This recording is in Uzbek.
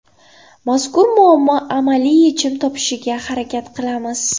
Mazkur muammo amaliy yechim topishiga harakat qilamiz.